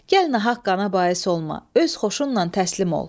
Gəl nahaqqana bais olma, öz xoşunla təslim ol.